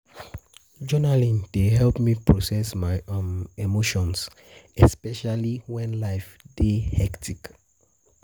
Journaling dey help me process my emotions, especially when life dey hectic.